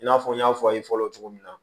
I n'a fɔ n y'a fɔ aw ye fɔlɔ cogo min na